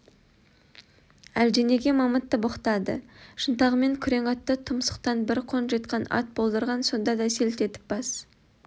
әлденеге мамытты боқтады шынтағымен күрең атты тұмсықтан бір қонжитқан ат болдырған сонда да селт етіп бас